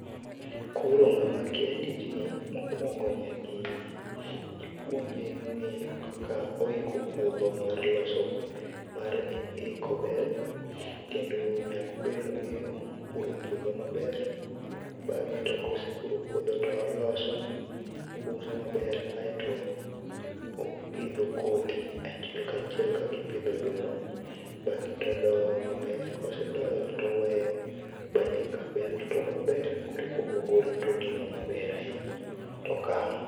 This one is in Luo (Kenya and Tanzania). Koro ng'ama kia tijni, mokuongo nyaka ipuonje ng'eyo kaka oiko puodho mar loso, mar iko bel kendo nyaka obed ni ong'eyo puro puodho maber. Bang'e to kosepuro puodho to oloso, obuso maber aito opidho kodhi achiel kachiel kaka ipido oduma, bang'e todoyo maber, kosedoyo toweyo manyaka bel tuo maber koreka obo golo todino maber ahinya tokano